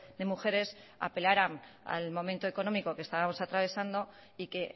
de mujeres apelaran al momento económico que estábamos atravesando y que